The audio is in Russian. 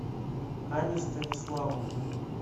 ани станиславовной